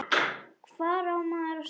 Hvar á maður að stoppa?